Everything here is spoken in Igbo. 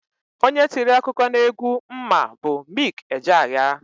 Onye tiri egwu akụkọ n'egwu m ma bụ Mik Ejeaya.